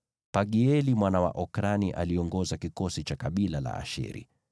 Pagieli mwana wa Okrani aliongoza kikosi cha kabila la Asheri,